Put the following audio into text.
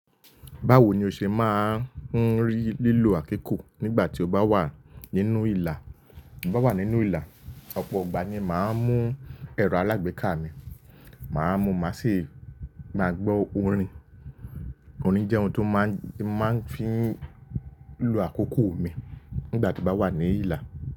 Báwo ni o ṣe máa ń rí lílo àkíkọ́ nígbà tí o bá wà nínú ìlà? Bí mo bá wà nínú ìlà, ọ̀pọ̀ ìgbà ni màá ń mú ẹ̀rọ alágbèéká mi, màá mú máa sì máa gbọ́ orin. Orin jẹ́ ohun tí máa ń fi ń lo àkókò mi nígbà tí mo bá wà ní ìlà.